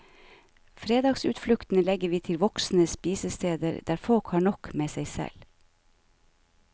Fredagsutfluktene legger vi til voksne spisesteder, der folk har nok med seg selv.